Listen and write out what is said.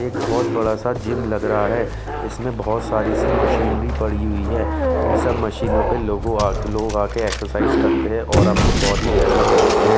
एक बहुत बड़ा सा जिम लग रहा है इसमें बहुत सारी सी मशीनरी पड़ी हुई है इन सब मशीनों पे लोगों लोग आकर एक्सरसाइज करते हैं और अपनी बॉडी डेवलप करते हैं।